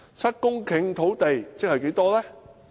七公頃土地即是多少呢？